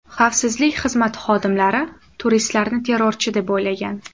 Xavfsizlik xizmati xodimlari turistlarni terrorchi, deb o‘ylagan.